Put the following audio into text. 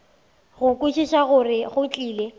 go kwešiša gore go tlile